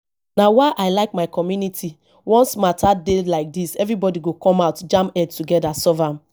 na why i like my community once matter dey like dis everybody go come out jam head together solve am